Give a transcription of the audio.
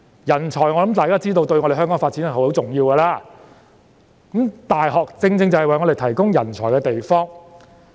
我相信大家都知道，人才對於香港的發展十分重要，而大學正正是為香港提供人才的地方。